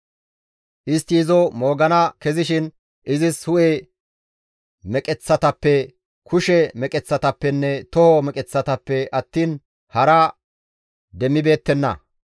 Istti izo moogana kezishin izis hu7e meqeththatappe, kushe meqeththatappenne toho meqeththatappe attiin hara demmibeettenna.